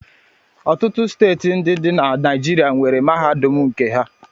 Ọtụtụ steeti ndi di na Naịjirịa nwere mahadum nke ha